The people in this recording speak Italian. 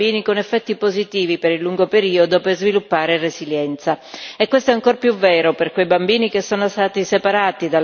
E ciò è ancor più vero per quei bambini che sono stati separati dalle loro famiglie per effetto di conflitti o di disastri naturali.